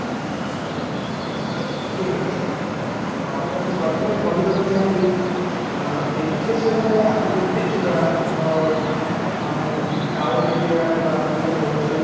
ଠିକ ଅଛି ତ ଅଂ ମୁଁ ପ୍ରଥମେ କହିବାକୁ ଚାହିଁବି ଅଂ education ଟା ଆମେ ଯଦି ଦେଖିବା ଆମର ଅଂ town area ବା ଆମେ ଯୋଉଟା କହୁଛେ